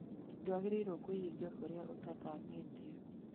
ndwagĩrĩrwo kwĩhinga kũrĩa ũtathimĩtwo